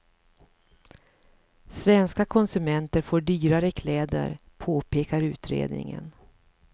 Svenska konsumenter får dyrare kläder, påpekar utredningen.